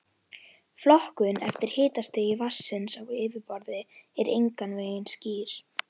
Flokkun eftir hitastigi vatnsins á yfirborði er engan veginn skýr.